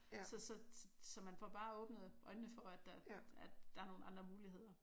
Så så man får bare åbnet øjnene for at der at der er nogle andre muligheder